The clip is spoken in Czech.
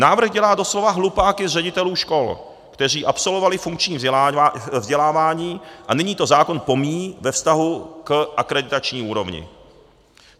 Návrh dělá doslova hlupáky z ředitelů škol, kteří absolvovali funkční vzdělávání, a nyní to zákon pomíjí ve vztahu k akreditační úrovni.